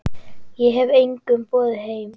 Ég hef engum boðið heim.